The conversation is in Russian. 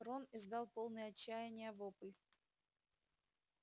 рон издал полный отчаяния вопль